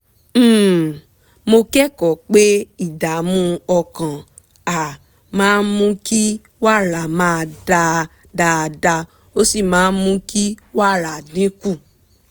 um mo kẹ́kọ̀ọ́ pé ìdààmú ọkàn um máa mú kí wàrà má dà dáadáa ó sì máa mú kí wàrà dín kù